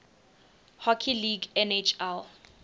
hockey league nhl